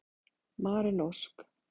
Maren Ósk.